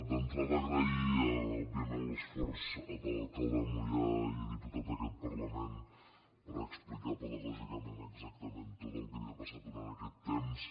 d’entrada agrair òbviament l’esforç de l’alcalde de moià i diputat d’aquest parlament per explicar pedagògicament exactament tot el que havia passat durant aquest temps